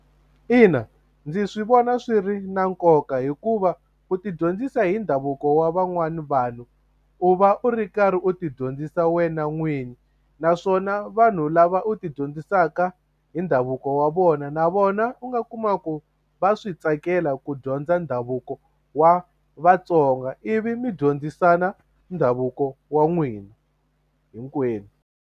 Ina ndzi swi vona swi ri na nkoka hikuva u ti dyondzisa hi ndhavuko wa van'wani vanhu u va u ri karhi u ti dyondzisa wena n'wini naswona vanhu lava u ti dyondzisaka hi ndhavuko wa vona na vona u nga kuma ku va swi tsakela ku dyondza ndhavuko wa Vatsonga ivi mi dyondzisana ndhavuko wa n'wina hinkwenu.